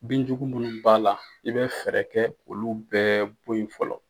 Binjugu minnu b'a la i bɛ fɛɛrɛ kɛ k'olu bɛɛ bɔyi fɔlɔ.